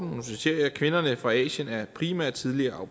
kvinderne fra asien er primært tidligere au